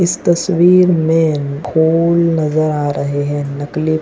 इस तस्वीर में फूल नजर आ रहे हैं नकली--